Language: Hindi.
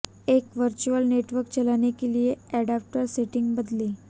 एक वर्चुअल नेटवर्क चलाने के लिए एडाप्टर सेटिंग बदलें